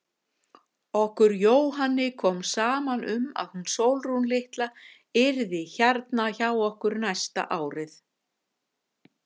Okkur Jóhanni kom saman um að hún Sólrún litla yrði hérna hjá okkur næsta árið.